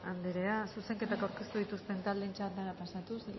anderea zuzenketak aurkeztu dituzten taldeen txandara pasatuz